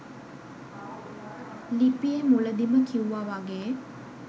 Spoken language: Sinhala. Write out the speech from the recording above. ලිපියෙ මුලදිම කිව්ව වගේ